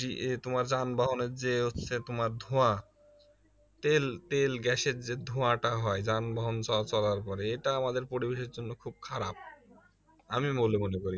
তোমার যানবাহনের যে হচ্ছে তোমার ধোয়া তেল তেল গ্যাসের যে ধোয়াটা হয় যানবাহন চলা চলার পরে এটা আমাদের পরিবেশের জন্য খুব খারাপ আমি বলে মনে করি